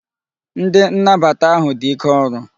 Ndi nnabata ahu di ike oru